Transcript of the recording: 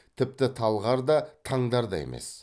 тіпті талғар да таңдар да емес